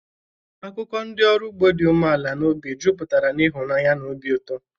Akụkọ ndị ọrụ ugbo dị umeala n'obi jupụtara na ịhụnanya na obi ụtọ.